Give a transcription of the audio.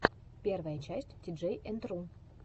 первая часть тиджей энд ру